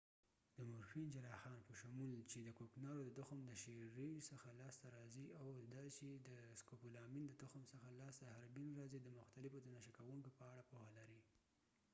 جراحانsurgeons د مورفین morphene په شمول چې د کوکنارو د تخم د شيری څخه لاس ته راځی او د سکوپولامینscopolamine چې د هربینherbane د تخم څخه لاس ته راځي د مختلفو د نشه کوونکو په اړه پوهه لري